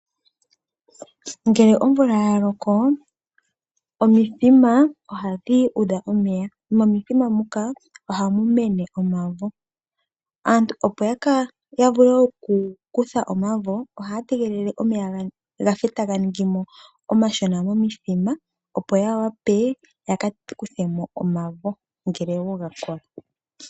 Ngele omvula ya loko omithima ohadhi udha omeya , nomomothima muka ohamu mene omavo . Aantu opo ya vule oku kuthamo omavo , ohaya tegelele omeya ga ningemo omashona momuthima opo ya wape yaka kuthemo omavo ngele wo gakola .